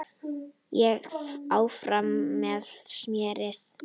Og áfram með smérið.